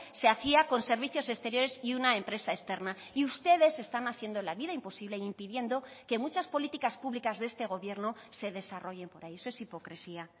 se hacía con servicios exteriores y una empresa externa y ustedes están haciendo la vida imposible e impidiendo que muchas políticas públicas de este gobierno se desarrollen por ahí eso es hipocresía